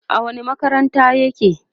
a wani makarantar yake?